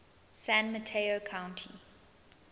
san mateo county